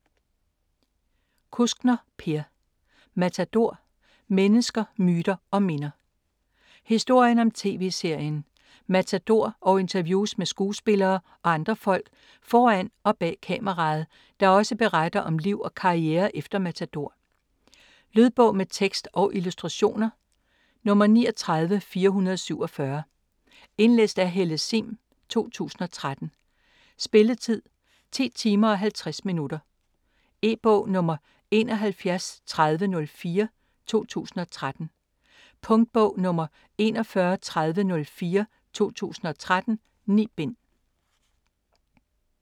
Kuskner, Per: Matador: mennesker, myter & minder Historien om tv-serien Matador og interviews med skuespillere og andre folk foran og bag kameraet, der også beretter om liv og karriere efter Matador. Lydbog med tekst og illustrationer 39447 Indlæst af Helle Sihm, 2013. Spilletid: 10 timer, 50 minutter. E-bog 713004 2013. Punktbog 413004 2013. 9 bind.